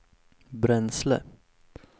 bränsle